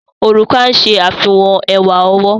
Òrùka ń ṣe àfihàn ẹwà ọwọ́.